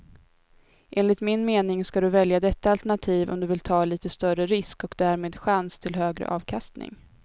Enligt min mening ska du välja detta alternativ om du vill ta lite större risk och därmed chans till högre avkastning.